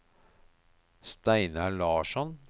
Steinar Larsson